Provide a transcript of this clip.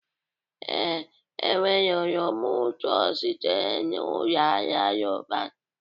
Ee, enwere oroma ụtọ sitere na Ụlọ Ahịa Roban